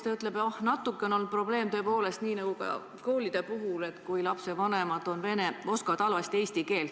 Ta ütles, et natuke ikka on olnud probleem, nii nagu ka koolide puhul, kui lapsevanemad oskavad halvasti eesti keelt.